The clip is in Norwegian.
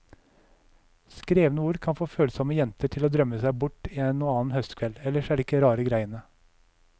Skrevne ord kan få følsomme jenter til å drømme seg bort en og annen høstkveld, ellers er det ikke rare greiene.